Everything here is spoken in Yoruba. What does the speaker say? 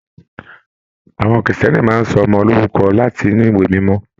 Àwọn Kírísítẹ́nì máa n sọ ọmọ lorúkọ láti inú ìwé mímọ.